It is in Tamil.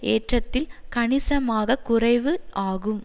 ஏற்றத்தில் கணிசமாக குறைவு ஆகும்